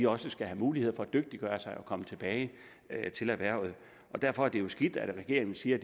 også skal mulighed for at dygtiggøre sig og komme tilbage til erhvervet derfor er det jo skidt at regeringen siger